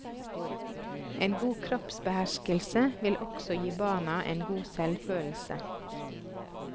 En god kroppsbeherskelse vil også gi barna en god selvfølelse.